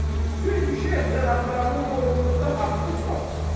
Çünki Şeyx cənablarının boynumuzda haqqı çoxdur.